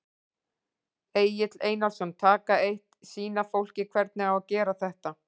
Egill Einarsson: Taka eitt, sýna fólki hvernig á að gera þetta?